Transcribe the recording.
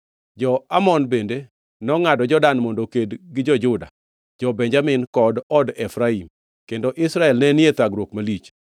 Jo-Amon bende nongʼado Jordan mondo oked gi jo-Juda, jo-Benjamin kod od Efraim; kendo Israel nenie thagruok malich.